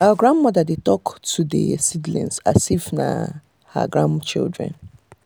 our grandmother dey talk to the seedlings as if na her grandchildren.